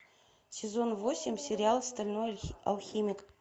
сезон восемь сериал стальной алхимик